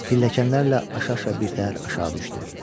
Pilləkənlərlə aşa-aşa birtəhər aşağı düşdü.